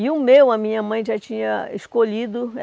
E o meu, a minha mãe já tinha escolhido.